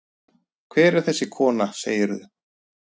Hver var þessi kona, segirðu?